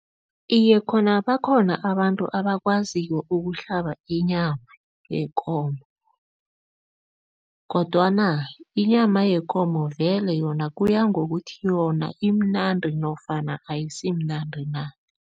Iye, khona bakhona abantu abakwaziko ukuhlaba inyama yekomo kodwana inyama yekomo vele yona kuya ngokuthi yona imnandi nofana ayisimnandi na.